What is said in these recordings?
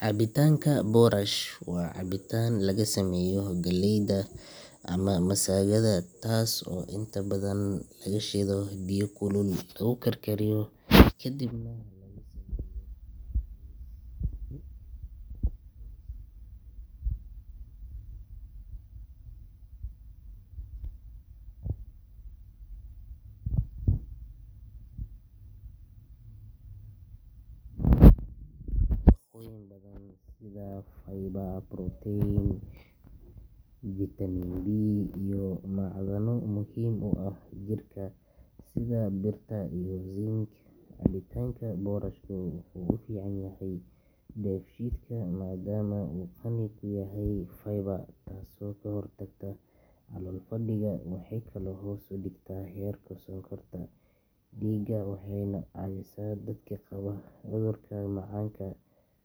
cabitaanka borash waa cabitaan laga sameeyo galleyda ama masagada taas oo inta badan lagu shiido biyo kulul lagu karkariyo kadibna laga sameeyo maraq culus oo nafaqo leh borashku waa cunto dhaqameed muhiim ah gaar ahaan marka la eego caafimaadka dadka waayeelka ah, carruurta iyo dadka bukaanada ah waxaa ku jira nafaqooyin badan sida fiber, protein, vitamin B iyo macdano muhiim u ah jirka sida birta iyo zinc cabitaanka borashka wuxuu u fiican yahay dheefshiidka maadaama uu qani ku yahay fiber taasoo ka hortagta calool fadhiga waxay kaloo hoos u dhigtaa heerka sonkorta dhiigga waxayna caawisaa dadka qaba cudurka macaanka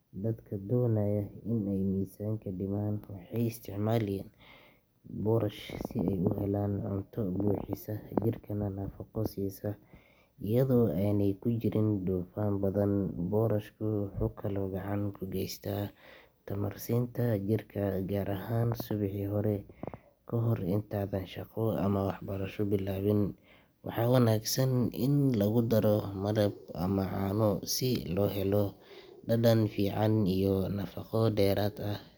dadka doonaya inay miisaanka dhimaan waxay isticmaalaan borash si ay u helaan cunto buuxisa jirkana nafaqo siisa iyadoo aanay ku jirin dufan badan borashku wuxuu kaloo gacan ka geystaa tamar siinta jirka gaar ahaan subaxii hore kahor intaadan shaqo ama waxbarasho bilaabin waxaa wanaagsan in lagu daro malab ama caano si loo helo dhadhan fiican iyo nafaqo dheeraad ah.